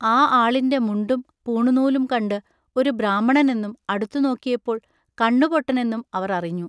ആ ആളിന്റെ മുണ്ടും പൂണുനൂലും കണ്ട്‌ ഒരു ബ്രാഹ്മണനെന്നും അടുത്തു നോക്കിയപ്പോൾ കണ്ണുപൊട്ടനെന്നും അവർ അറിഞ്ഞു.